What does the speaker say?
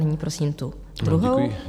Nyní prosím tu druhou.